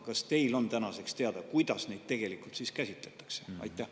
Kas teil on tänaseks teada, kuidas neid siis tegelikult käsitletakse?